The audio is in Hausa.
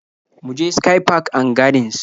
Mu je sky park and gardens